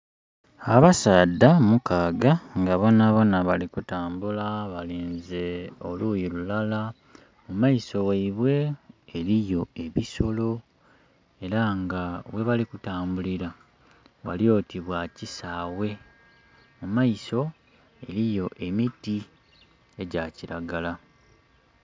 Abasaadha mukaaga nga bonabona bali kutambula nga balinze oluyi lulala, mu maiso ghaibwe eriyo ebisolo, era nga ghebali kutambulira ghali oti bwa kisaaghe mu maiso eriyo emiti egya kiragala.